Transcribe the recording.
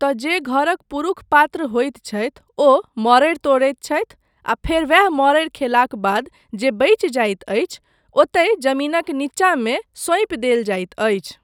तँ जे घरक पुरुष पात्र होइत छथि ओ मड़ड़ि तोड़ैत छथि आ फेर वैह मड़ड़ि खयलाक बाद जे बचि जाइत अछि, ओतय जमीनक नीचामे सौंप देल जाइत अछि।